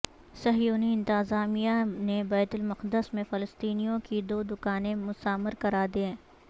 صہیونی انتظامیہ نے بیت المقدس میں فلسطینیوں کی دو دکانیں مسمار کرا دیں